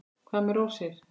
Hvað með rósir?